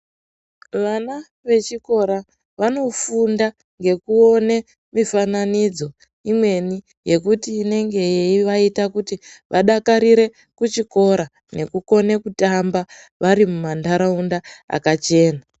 Van vechikora vanofunda ngekuona mufananidzo imweni yekuti inenge taiita kuti vadakarire kuchikora nekukone kutamba vari mumandaraunda makachena